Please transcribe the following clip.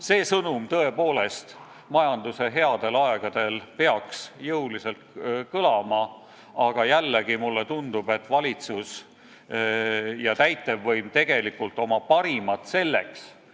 See sõnum peaks majanduse headel aegadel jõuliselt kõlama, aga jällegi mulle tundub, et valitsus ja täitevvõim tegelikult oma parimat selle nimel ei anna.